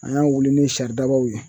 An y'a wili ni saridabaw ye